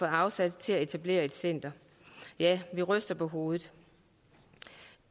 afsat til at etablere et center ja vi ryster på hovedet